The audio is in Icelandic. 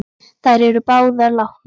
Þær eru báðar látnar.